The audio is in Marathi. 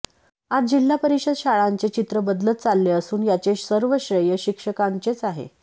आज जिल्हा परिषद शाळांचे चित्र बदलत चालले असून याचे सर्व श्रेय शिक्षकांचेच आहे